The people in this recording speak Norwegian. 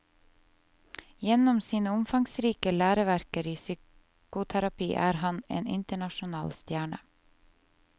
Gjennom sine omfangsrike læreverker i psykoterapi er han en internasjonal stjerne.